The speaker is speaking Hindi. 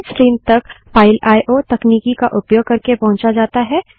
स्ट्रीम्स तक फाइल आईओ तकनीकी का उपयोग करके पहुंचा जाता हैं